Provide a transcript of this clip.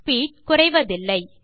speed குறைவதில்லை